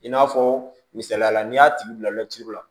I n'a fɔ misaliya la n'i y'a tigi bila lsi la